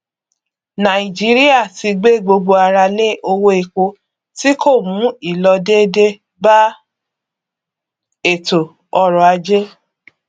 nàìjíríà ti gbé gbogbo ara lé owó epo tí kò mú ìlọdédé bá ètò ọrọ ajé